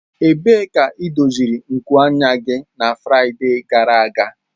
Ebee ka edoziri nku anya gị na Fraịde gara aga?